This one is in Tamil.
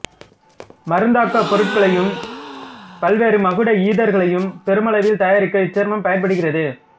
மருந்தாக்கப் பொருள்களையும் பல்வேறு மகுட ஈதர்களையும் பெருமளவில் தயாரிக்க இச்சேர்மம் பயன்படுகிறது